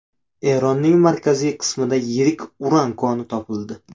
Eronning markaziy qismida yirik uran koni topildi.